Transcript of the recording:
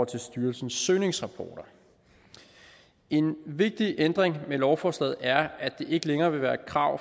til styrelsens søgningsrapporter en vigtig ændring med lovforslaget er at det ikke længere vil være et krav